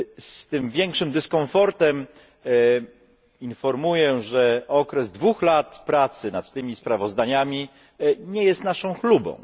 Z tym większym dyskomfortem informuję, że okres dwóch lat pracy nad tymi sprawozdaniami nie jest naszą chlubą.